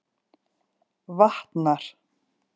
Vatnar